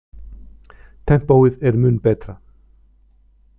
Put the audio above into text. Tempóið er mun betra.